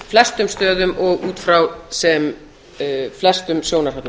flestum stöðum og út frá sem flestum sjónarhornum